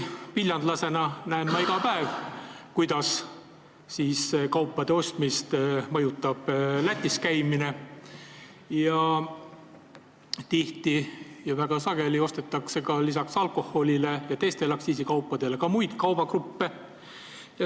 Viljandlasena näen ma iga päev, kuidas kaupade ostmist mõjutab Lätis käimine, väga sageli ostetakse lisaks alkoholile ja teistele aktsiisikaupadele sealt ka muid kaubagruppe.